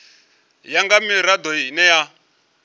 ya nga mirado ine ya